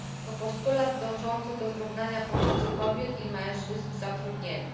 To postulat dążący do zrównania pozycji kobiet i mężczyzn w zatrudnieniu.